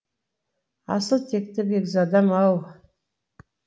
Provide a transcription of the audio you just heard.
асыл текті бекзадам ау